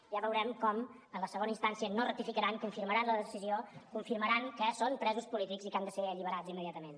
ja veurem com en la segona instància no rectificaran confirmaran la decisió confirmaran que són presos polítics i que han de ser alliberats immediatament